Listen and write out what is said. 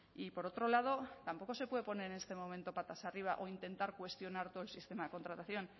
y por otro lado tampoco se puede poner en este momento patas arriba o intentar cuestionar todo el sistema de contratación